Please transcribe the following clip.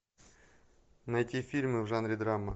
найти фильмы в жанре драма